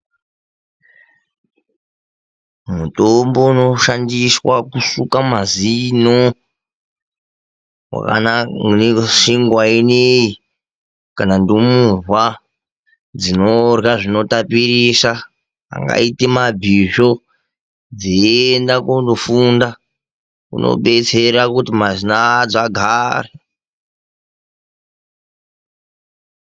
Mutombo unoshandiswa kusuka mazino wakanaka maningi senguva ineyi. Kana ndumurwa dzinorya zvinotapirisa angaita mabhisvo dzeienda kundofunda unobetsera kuti mazino adzo agare .